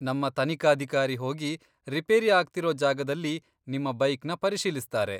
ನಮ್ಮ ತನಿಖಾಧಿಕಾರಿ ಹೋಗಿ ರಿಪೇರಿ ಆಗ್ತಿರೋ ಜಾಗದಲ್ಲಿ ನಿಮ್ಮ ಬೈಕ್ನ ಪರಿಶೀಲಿಸ್ತಾರೆ.